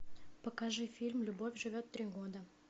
покажи фильм любовь живет три года